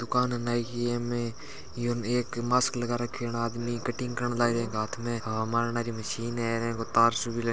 दुकान नाई की है इमे एक मास्क लगा रखेण आदमी कटिंग करेन लागरी हाथ में हवा मारन वाली मशीन है इगु तार सो भी--